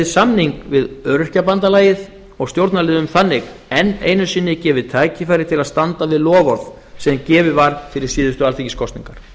samning við öryrkjabandalagið og stjórnarliðum þannig enn einu sinni gefið tækifæri til að standa við loforð sem gefið var fyrir síðustu alþingiskosningar